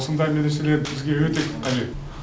осындай медреселер бізге өте қажет